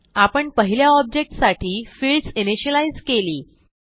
आपण पहिल्या ऑब्जेक्ट साठी फिल्डस इनिशियलाईज केली